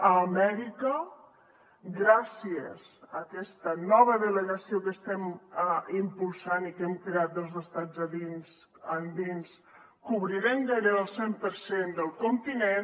a amèrica gràcies a aquesta nova delegació que estem impulsant i que hem creat dels estats endins cobrirem gairebé el cent per cent del continent